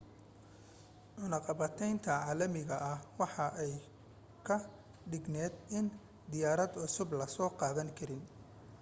cunaqabateynta caalamiga waxa ay ka dhigneyd in diyaarad cusub lasoo gadan karin